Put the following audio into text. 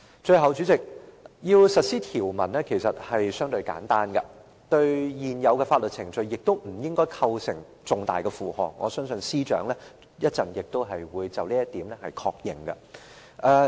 最後，代理主席，要實施《條例草案》其實是相對簡單的，對現有的法律程序亦不會構成重大的負荷，我相信司長稍後亦會就這一點作出確認。